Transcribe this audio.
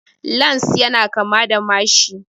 Lans ya na kama da mashi